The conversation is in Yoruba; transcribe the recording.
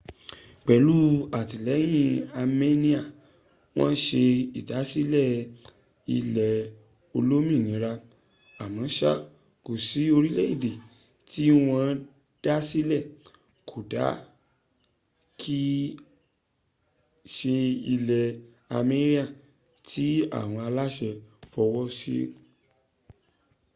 pẹlú àtìlẹyìn armenian, wọ́n se ìdásílẹ̀ ilẹ̀ olómìnira. àmọ́ṣá kò sí orílẹ̀èdè tí wọ́n dá sílẹ̀ - kódà kì í se ilẹ̀ armenian - tí àwọn aláṣẹ fọwọ́ sí